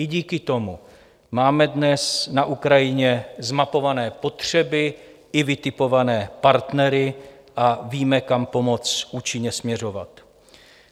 I díky tomu máme dnes na Ukrajině zmapované potřeby i vytipované partnery a víme, kam pomoc účinně směřovat.